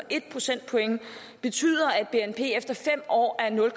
en procentpoint betyder at bnp efter fem år er nul